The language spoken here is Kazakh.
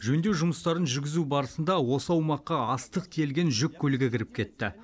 жөндеу жұмыстарын жүргізу барысында осы аумаққа астық тиелген жүк көлігі кіріп кетті